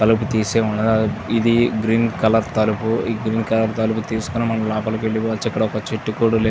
తలుపులు తీసే ఉన్నది. అది ఇది గ్రీన్ కలర్ తలుపు. ఇంకా తీసుకొని మనం లోపలికి వెళ్ళిపోవచ్చు. ఇక్కడ ఒక చెట్టు కూడా లే --